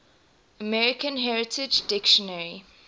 american heritage dictionary